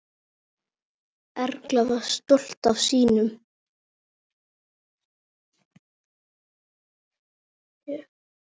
Erla var stolt af sínum.